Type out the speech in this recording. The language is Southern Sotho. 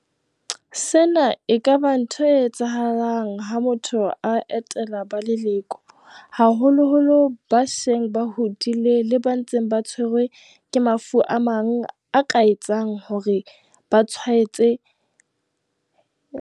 Sena e ka ba ntho e etsahalang ha motho a etela ba leloko, haholoholo ba seng ba hodile le ba ntseng ba tshwerwe ke mafu a mang a ka etsang hore ba tshwae tsehe ha bonolo.